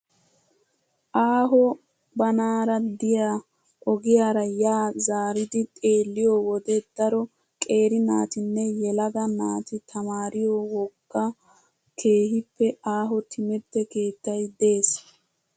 Aaho banaara diyaa ogiyaara yaa zaaridi xeelliyoo wode daro qeeri naatinne yelaga naati tamaariyoo wogga keehippe aaho timirtte keettayi des.